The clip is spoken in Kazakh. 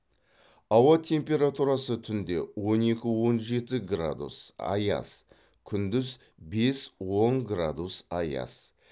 ауа температурасы түнде он екі он жеті градус аяз күндіз бес он градус аяз